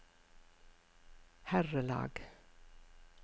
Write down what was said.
herrelag